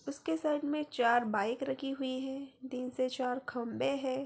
उस के साइक मे चार बाइक रखी हुवी है तीन से चार खम्बे है।